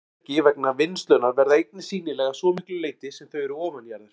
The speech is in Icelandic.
Mannvirki vegna vinnslunnar verða einnig sýnileg að svo miklu leyti sem þau eru ofanjarðar.